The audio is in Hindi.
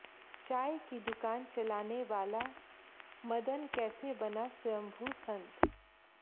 चाय की दुकान चलाने वाला मदन कैसा बना स्वयंभू संत